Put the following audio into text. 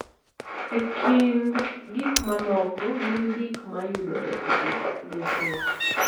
E kind gik mamoko, gin gik ma yudore e lith lwetewa.